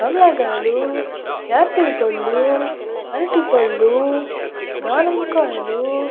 కమలా కాయలు ఆపిల్ కాయలు అరటిపళ్ళు దానిమ్మకాయలు.